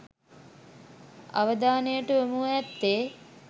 අවධානයට යොමුව ඇත්තේ